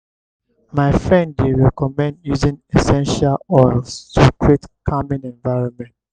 my friend dey recommend using essential oils to create calming environment.